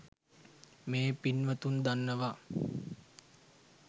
මේ පින්වතුන් දන්නවා